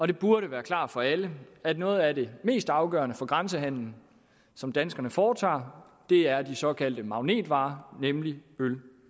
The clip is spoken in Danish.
det burde være klart for alle at noget af det mest afgørende for grænsehandelen som danskerne foretager er de såkaldte magnetvarer nemlig øl